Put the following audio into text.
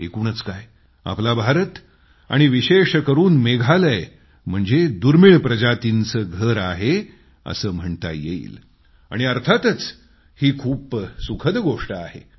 एकूणच काय आपला भारत आणि विशेष करून मेघालय म्हणजे दुर्मिळ प्रजातींचं घर आहे असं म्हणता येईल आणि अर्थातच ही खूप सुखद गोष्ट आहे